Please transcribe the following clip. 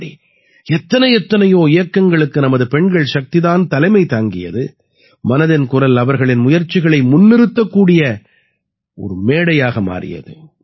இப்படி எத்தனை எத்தனையோ இயக்கங்களுக்கு நமது பெண்கள் சக்தி தான் தலைமை தாங்கியது மனதின் குரல் அவர்களின் முயற்சிகளை முன்னிறுத்தக் கூடிய ஒரு மேடையாக மாறியது